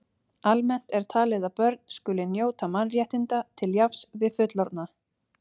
Almennt er talið að börn skuli njóta mannréttinda til jafns við fullorðna.